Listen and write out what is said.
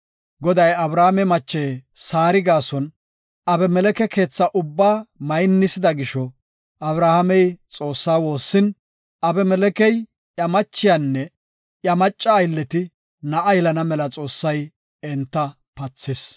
Goday Abrahaame mache Saari gaason Abimeleke keetha ubba maynisida gisho Abrahaamey Xoossa woossin, Abimelekey, iya machiyanne iya macca aylleti na7a yelana mela Xoossay enta pathis.